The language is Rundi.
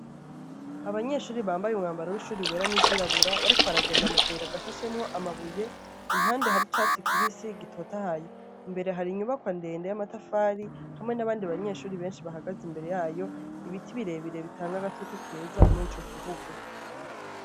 Abanyeshure bambaye umwambaro w'ishure wera n'izirabura, Bariko baragenda mu kayira gashashemwo amabuye. Impande, har'icatsi kibisi gitotahaye. Imbere, har'inyubakwa ndende y'amatafari, hamwe n'abandi banyeshure benshi bahagaze imbere y'ayo, ibiti birebire bitanga akayaga keza mur'ico kibuga.